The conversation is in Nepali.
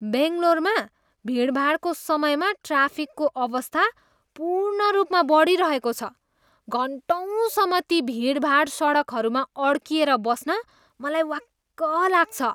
बेङ्गलोरमा भिडभाडको समयमा ट्राफिकको अवस्था पूर्ण रूपमा बडिरहेको छ। घन्टौँसम्म ती भिडभाड सडकहरूमा अड्किएर बस्न मलाई वाक्क लाग्छ।